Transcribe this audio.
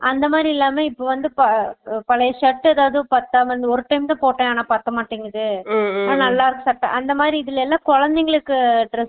அந்தமாதிரி இல்லாம இப்ப வந்து பா பழைய shirt எதும் பத்தாம ஒரு time தா போட்டேன் ஆனா பத்தமாடிங்குது அந்தமாதிரி இதுலா எல்லா குழந்தைகளுக்கு dress